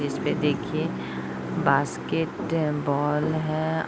जिसपे देखिए basketball है।